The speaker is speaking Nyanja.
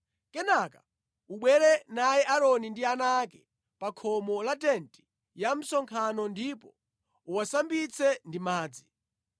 Kenaka ubwere naye Aaroni ndi ana ake pa khomo la tenti ya msonkhano ndipo uwasambitse ndi madzi.